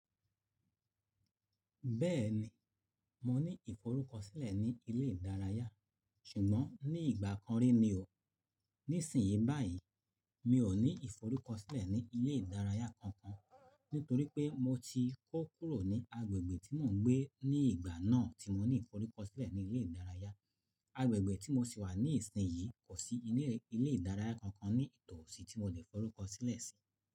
Bẹ́ẹ̀ni, mo ní ìforúkọsílẹ̀ ní ilé ìdárayá ṣùgbọ́n ní ìgbà kan rí ni o. Nísìnyí báyìí, mi ò ní ìforúkọsílẹ̀ ní ilé ìdárayá kankan nítorí pé mo ti kó kúrò ní agbègbè tí mò ń gbé ní ìgbà náà tí mo ní ìforúkọsílẹ̀ ní ilé ìdárayá. Agbègbè tí mo sì wà ní ìsìnyí kò sí ilé ìdárayá kankan ní ìtòòsí tí mo lè forúkọsílẹ̀ sí.